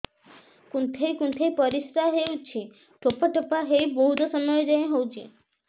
କୁନ୍ଥେଇ କୁନ୍ଥେଇ ପରିଶ୍ରା ହଉଛି ଠୋପା ଠୋପା ହେଇ ବହୁତ ସମୟ ଯାଏ ହଉଛି